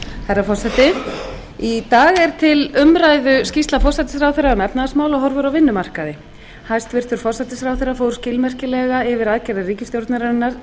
herra forseti í dag er til umræðu skýrsla forsætisráðherra um efnahagsmál og horfur á vinnumarkaði hæstvirtur forsætisráðherra fór skilmerkilega yfir aðgerðir ríkisstjórnarinnar